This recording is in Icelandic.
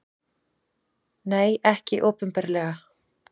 Nei, ekki opinberlega.